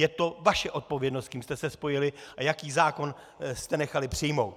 Je to vaše odpovědnost, s kým jste se spojili a jaký zákon jste nechali přijmout!